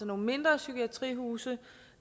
mindre psykiatrihuse